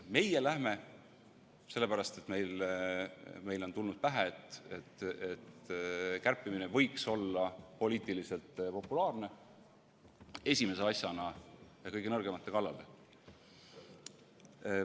Meie läheme, sellepärast et meile on tulnud pähe, et kärpimine võiks olla poliitiliselt populaarne, esimese asjana kõige nõrgemate kallale.